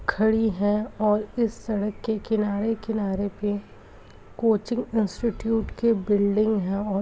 खड़ी हैं और इस सड़क के किनारे-किनारे पे कोचिंग इंस्टिट्यूट की बिल्डिंग है और --